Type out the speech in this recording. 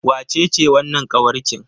Wacece wannan kawarkin?